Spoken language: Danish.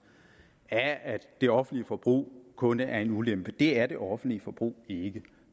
af at det offentlige forbrug kun er en ulempe det er det offentlige forbrug ikke